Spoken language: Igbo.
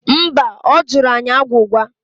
Mba, ọ jụrụ anyị agwụgwa